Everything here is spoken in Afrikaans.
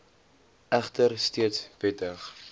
egter steeds wettig